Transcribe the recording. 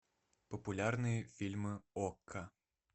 популярные фильмы окко